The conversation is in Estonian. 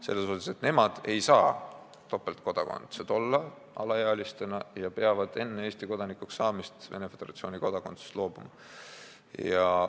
See rühm alaealisi ei saa topeltkodakondsuses olla ja nad peavad enne Eesti kodanikuks saamist Venemaa Föderatsiooni kodakondsusest loobuma.